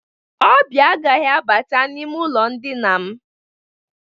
Ọbịa agaghị apata n'ime ụlọ ndịna m.